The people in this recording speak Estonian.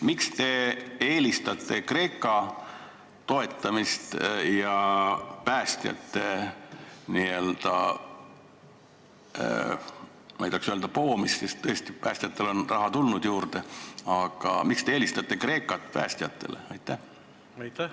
Miks te eelistate Kreeka toetamist ja päästjate, ma ei tahaks küll öelda poomist, sest tõesti päästjatele on raha juurde antud, aga miks te eelistate Kreekat päästjatele?